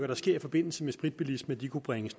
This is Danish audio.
der sker i forbindelse med spritbilisme kunne bringes